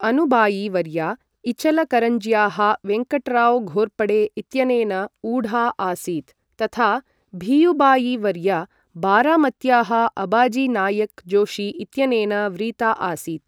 अनुबायी वर्या इचलकरञ्ज्याः वेङ्कट्राव् घोर्पडे इत्यनेन ऊढा आसीत् तथा भीयुबायी वर्या बारामत्याः अबाजि नायक् जोशी इत्यनेन व्रीता आसीत्।